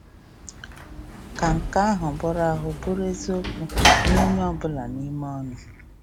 Ka nke ahụ bụrụ ahụ bụrụ eziokwu nye onye ọbụla n’ime ụnụ.